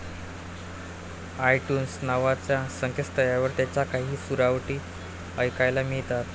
ITunes नावाच्या संकेतस्थळावर त्यांच्या काही सुरावटी ऐकायला मिळतात.